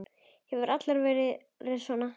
Hefur alla tíð verið svona.